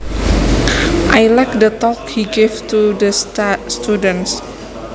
I liked the talk he gave to the students